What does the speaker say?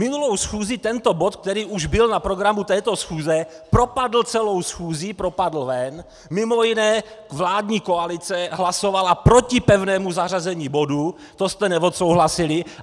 Minulou schůzi tento bod, který už byl na programu této schůze, propadl celou schůzí, propadl ven, mimo jiné vládní koalice hlasovala proti pevnému zařazení bodu, to jste neodsouhlasili.